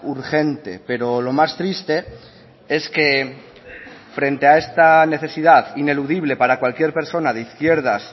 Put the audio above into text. urgente pero lo más triste es que frente a esta necesidad ineludible para cualquier persona de izquierdas